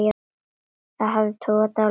Hafið togar dálítið í mig.